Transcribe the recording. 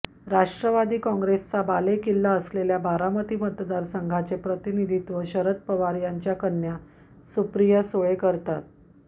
राष्ट्रवादी कॉंग्रेसचा बालेकिल्ला असलेल्या बारामती मतदारसंघाचे प्रतिनिधीत्व शरद पवार यांच्या कन्या सुप्रिया सुळे या करतात